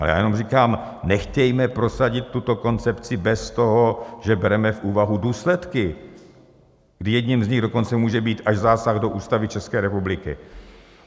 A já jenom říkám - nechtějme prosadit tuto koncepci bez toho, že bereme v úvahu důsledky, kdy jedním z nich dokonce může být až zásah do Ústavy České republiky.